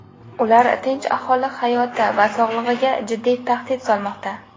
Ular tinch aholi hayoti va sog‘lig‘iga jiddiy tahdid solmoqda.